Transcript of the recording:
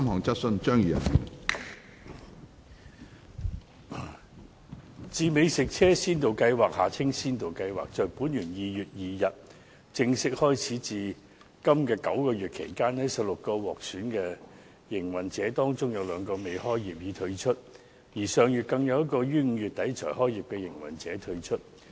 自美食車先導計劃於本年2月2日正式開始至今的9個月期間，在16個獲選的營運者當中，有兩個未開業已退出，而上月更有一個於5月底才開業的營運者退出。